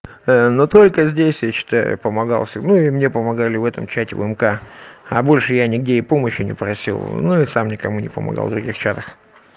но только здесь я считаю помогал всем ну и мне помогали в этом чате вмк а больше я нигде и помощью не просил ну и сам никому не помогал в других чатах